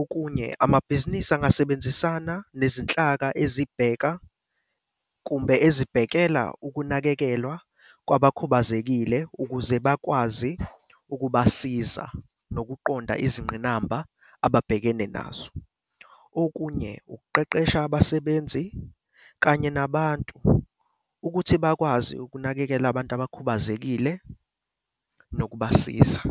Okunye, amabhizinisi angasebenzisana nezinhlaka ezibhekana kumbe ezibhekelela ukunakekelwa kwabakhubazekile ukuze bakwazi ukubasiza nokuqonda izingqinamba ababhekene nazo. Okunye ukuqeqesha abasebenzi kanye nabantu ukuthi bakwazi ukunakekela abantu abakhubazekile nokubasiza.